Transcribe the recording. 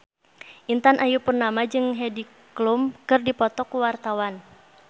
Intan Ayu Purnama jeung Heidi Klum keur dipoto ku wartawan